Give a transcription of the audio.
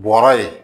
Bɔra ye